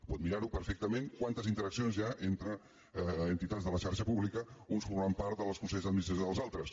pot mirar ho perfectament quantes interaccions hi ha entre entitats de la xarxa pública uns formant part dels consells d’administració dels altres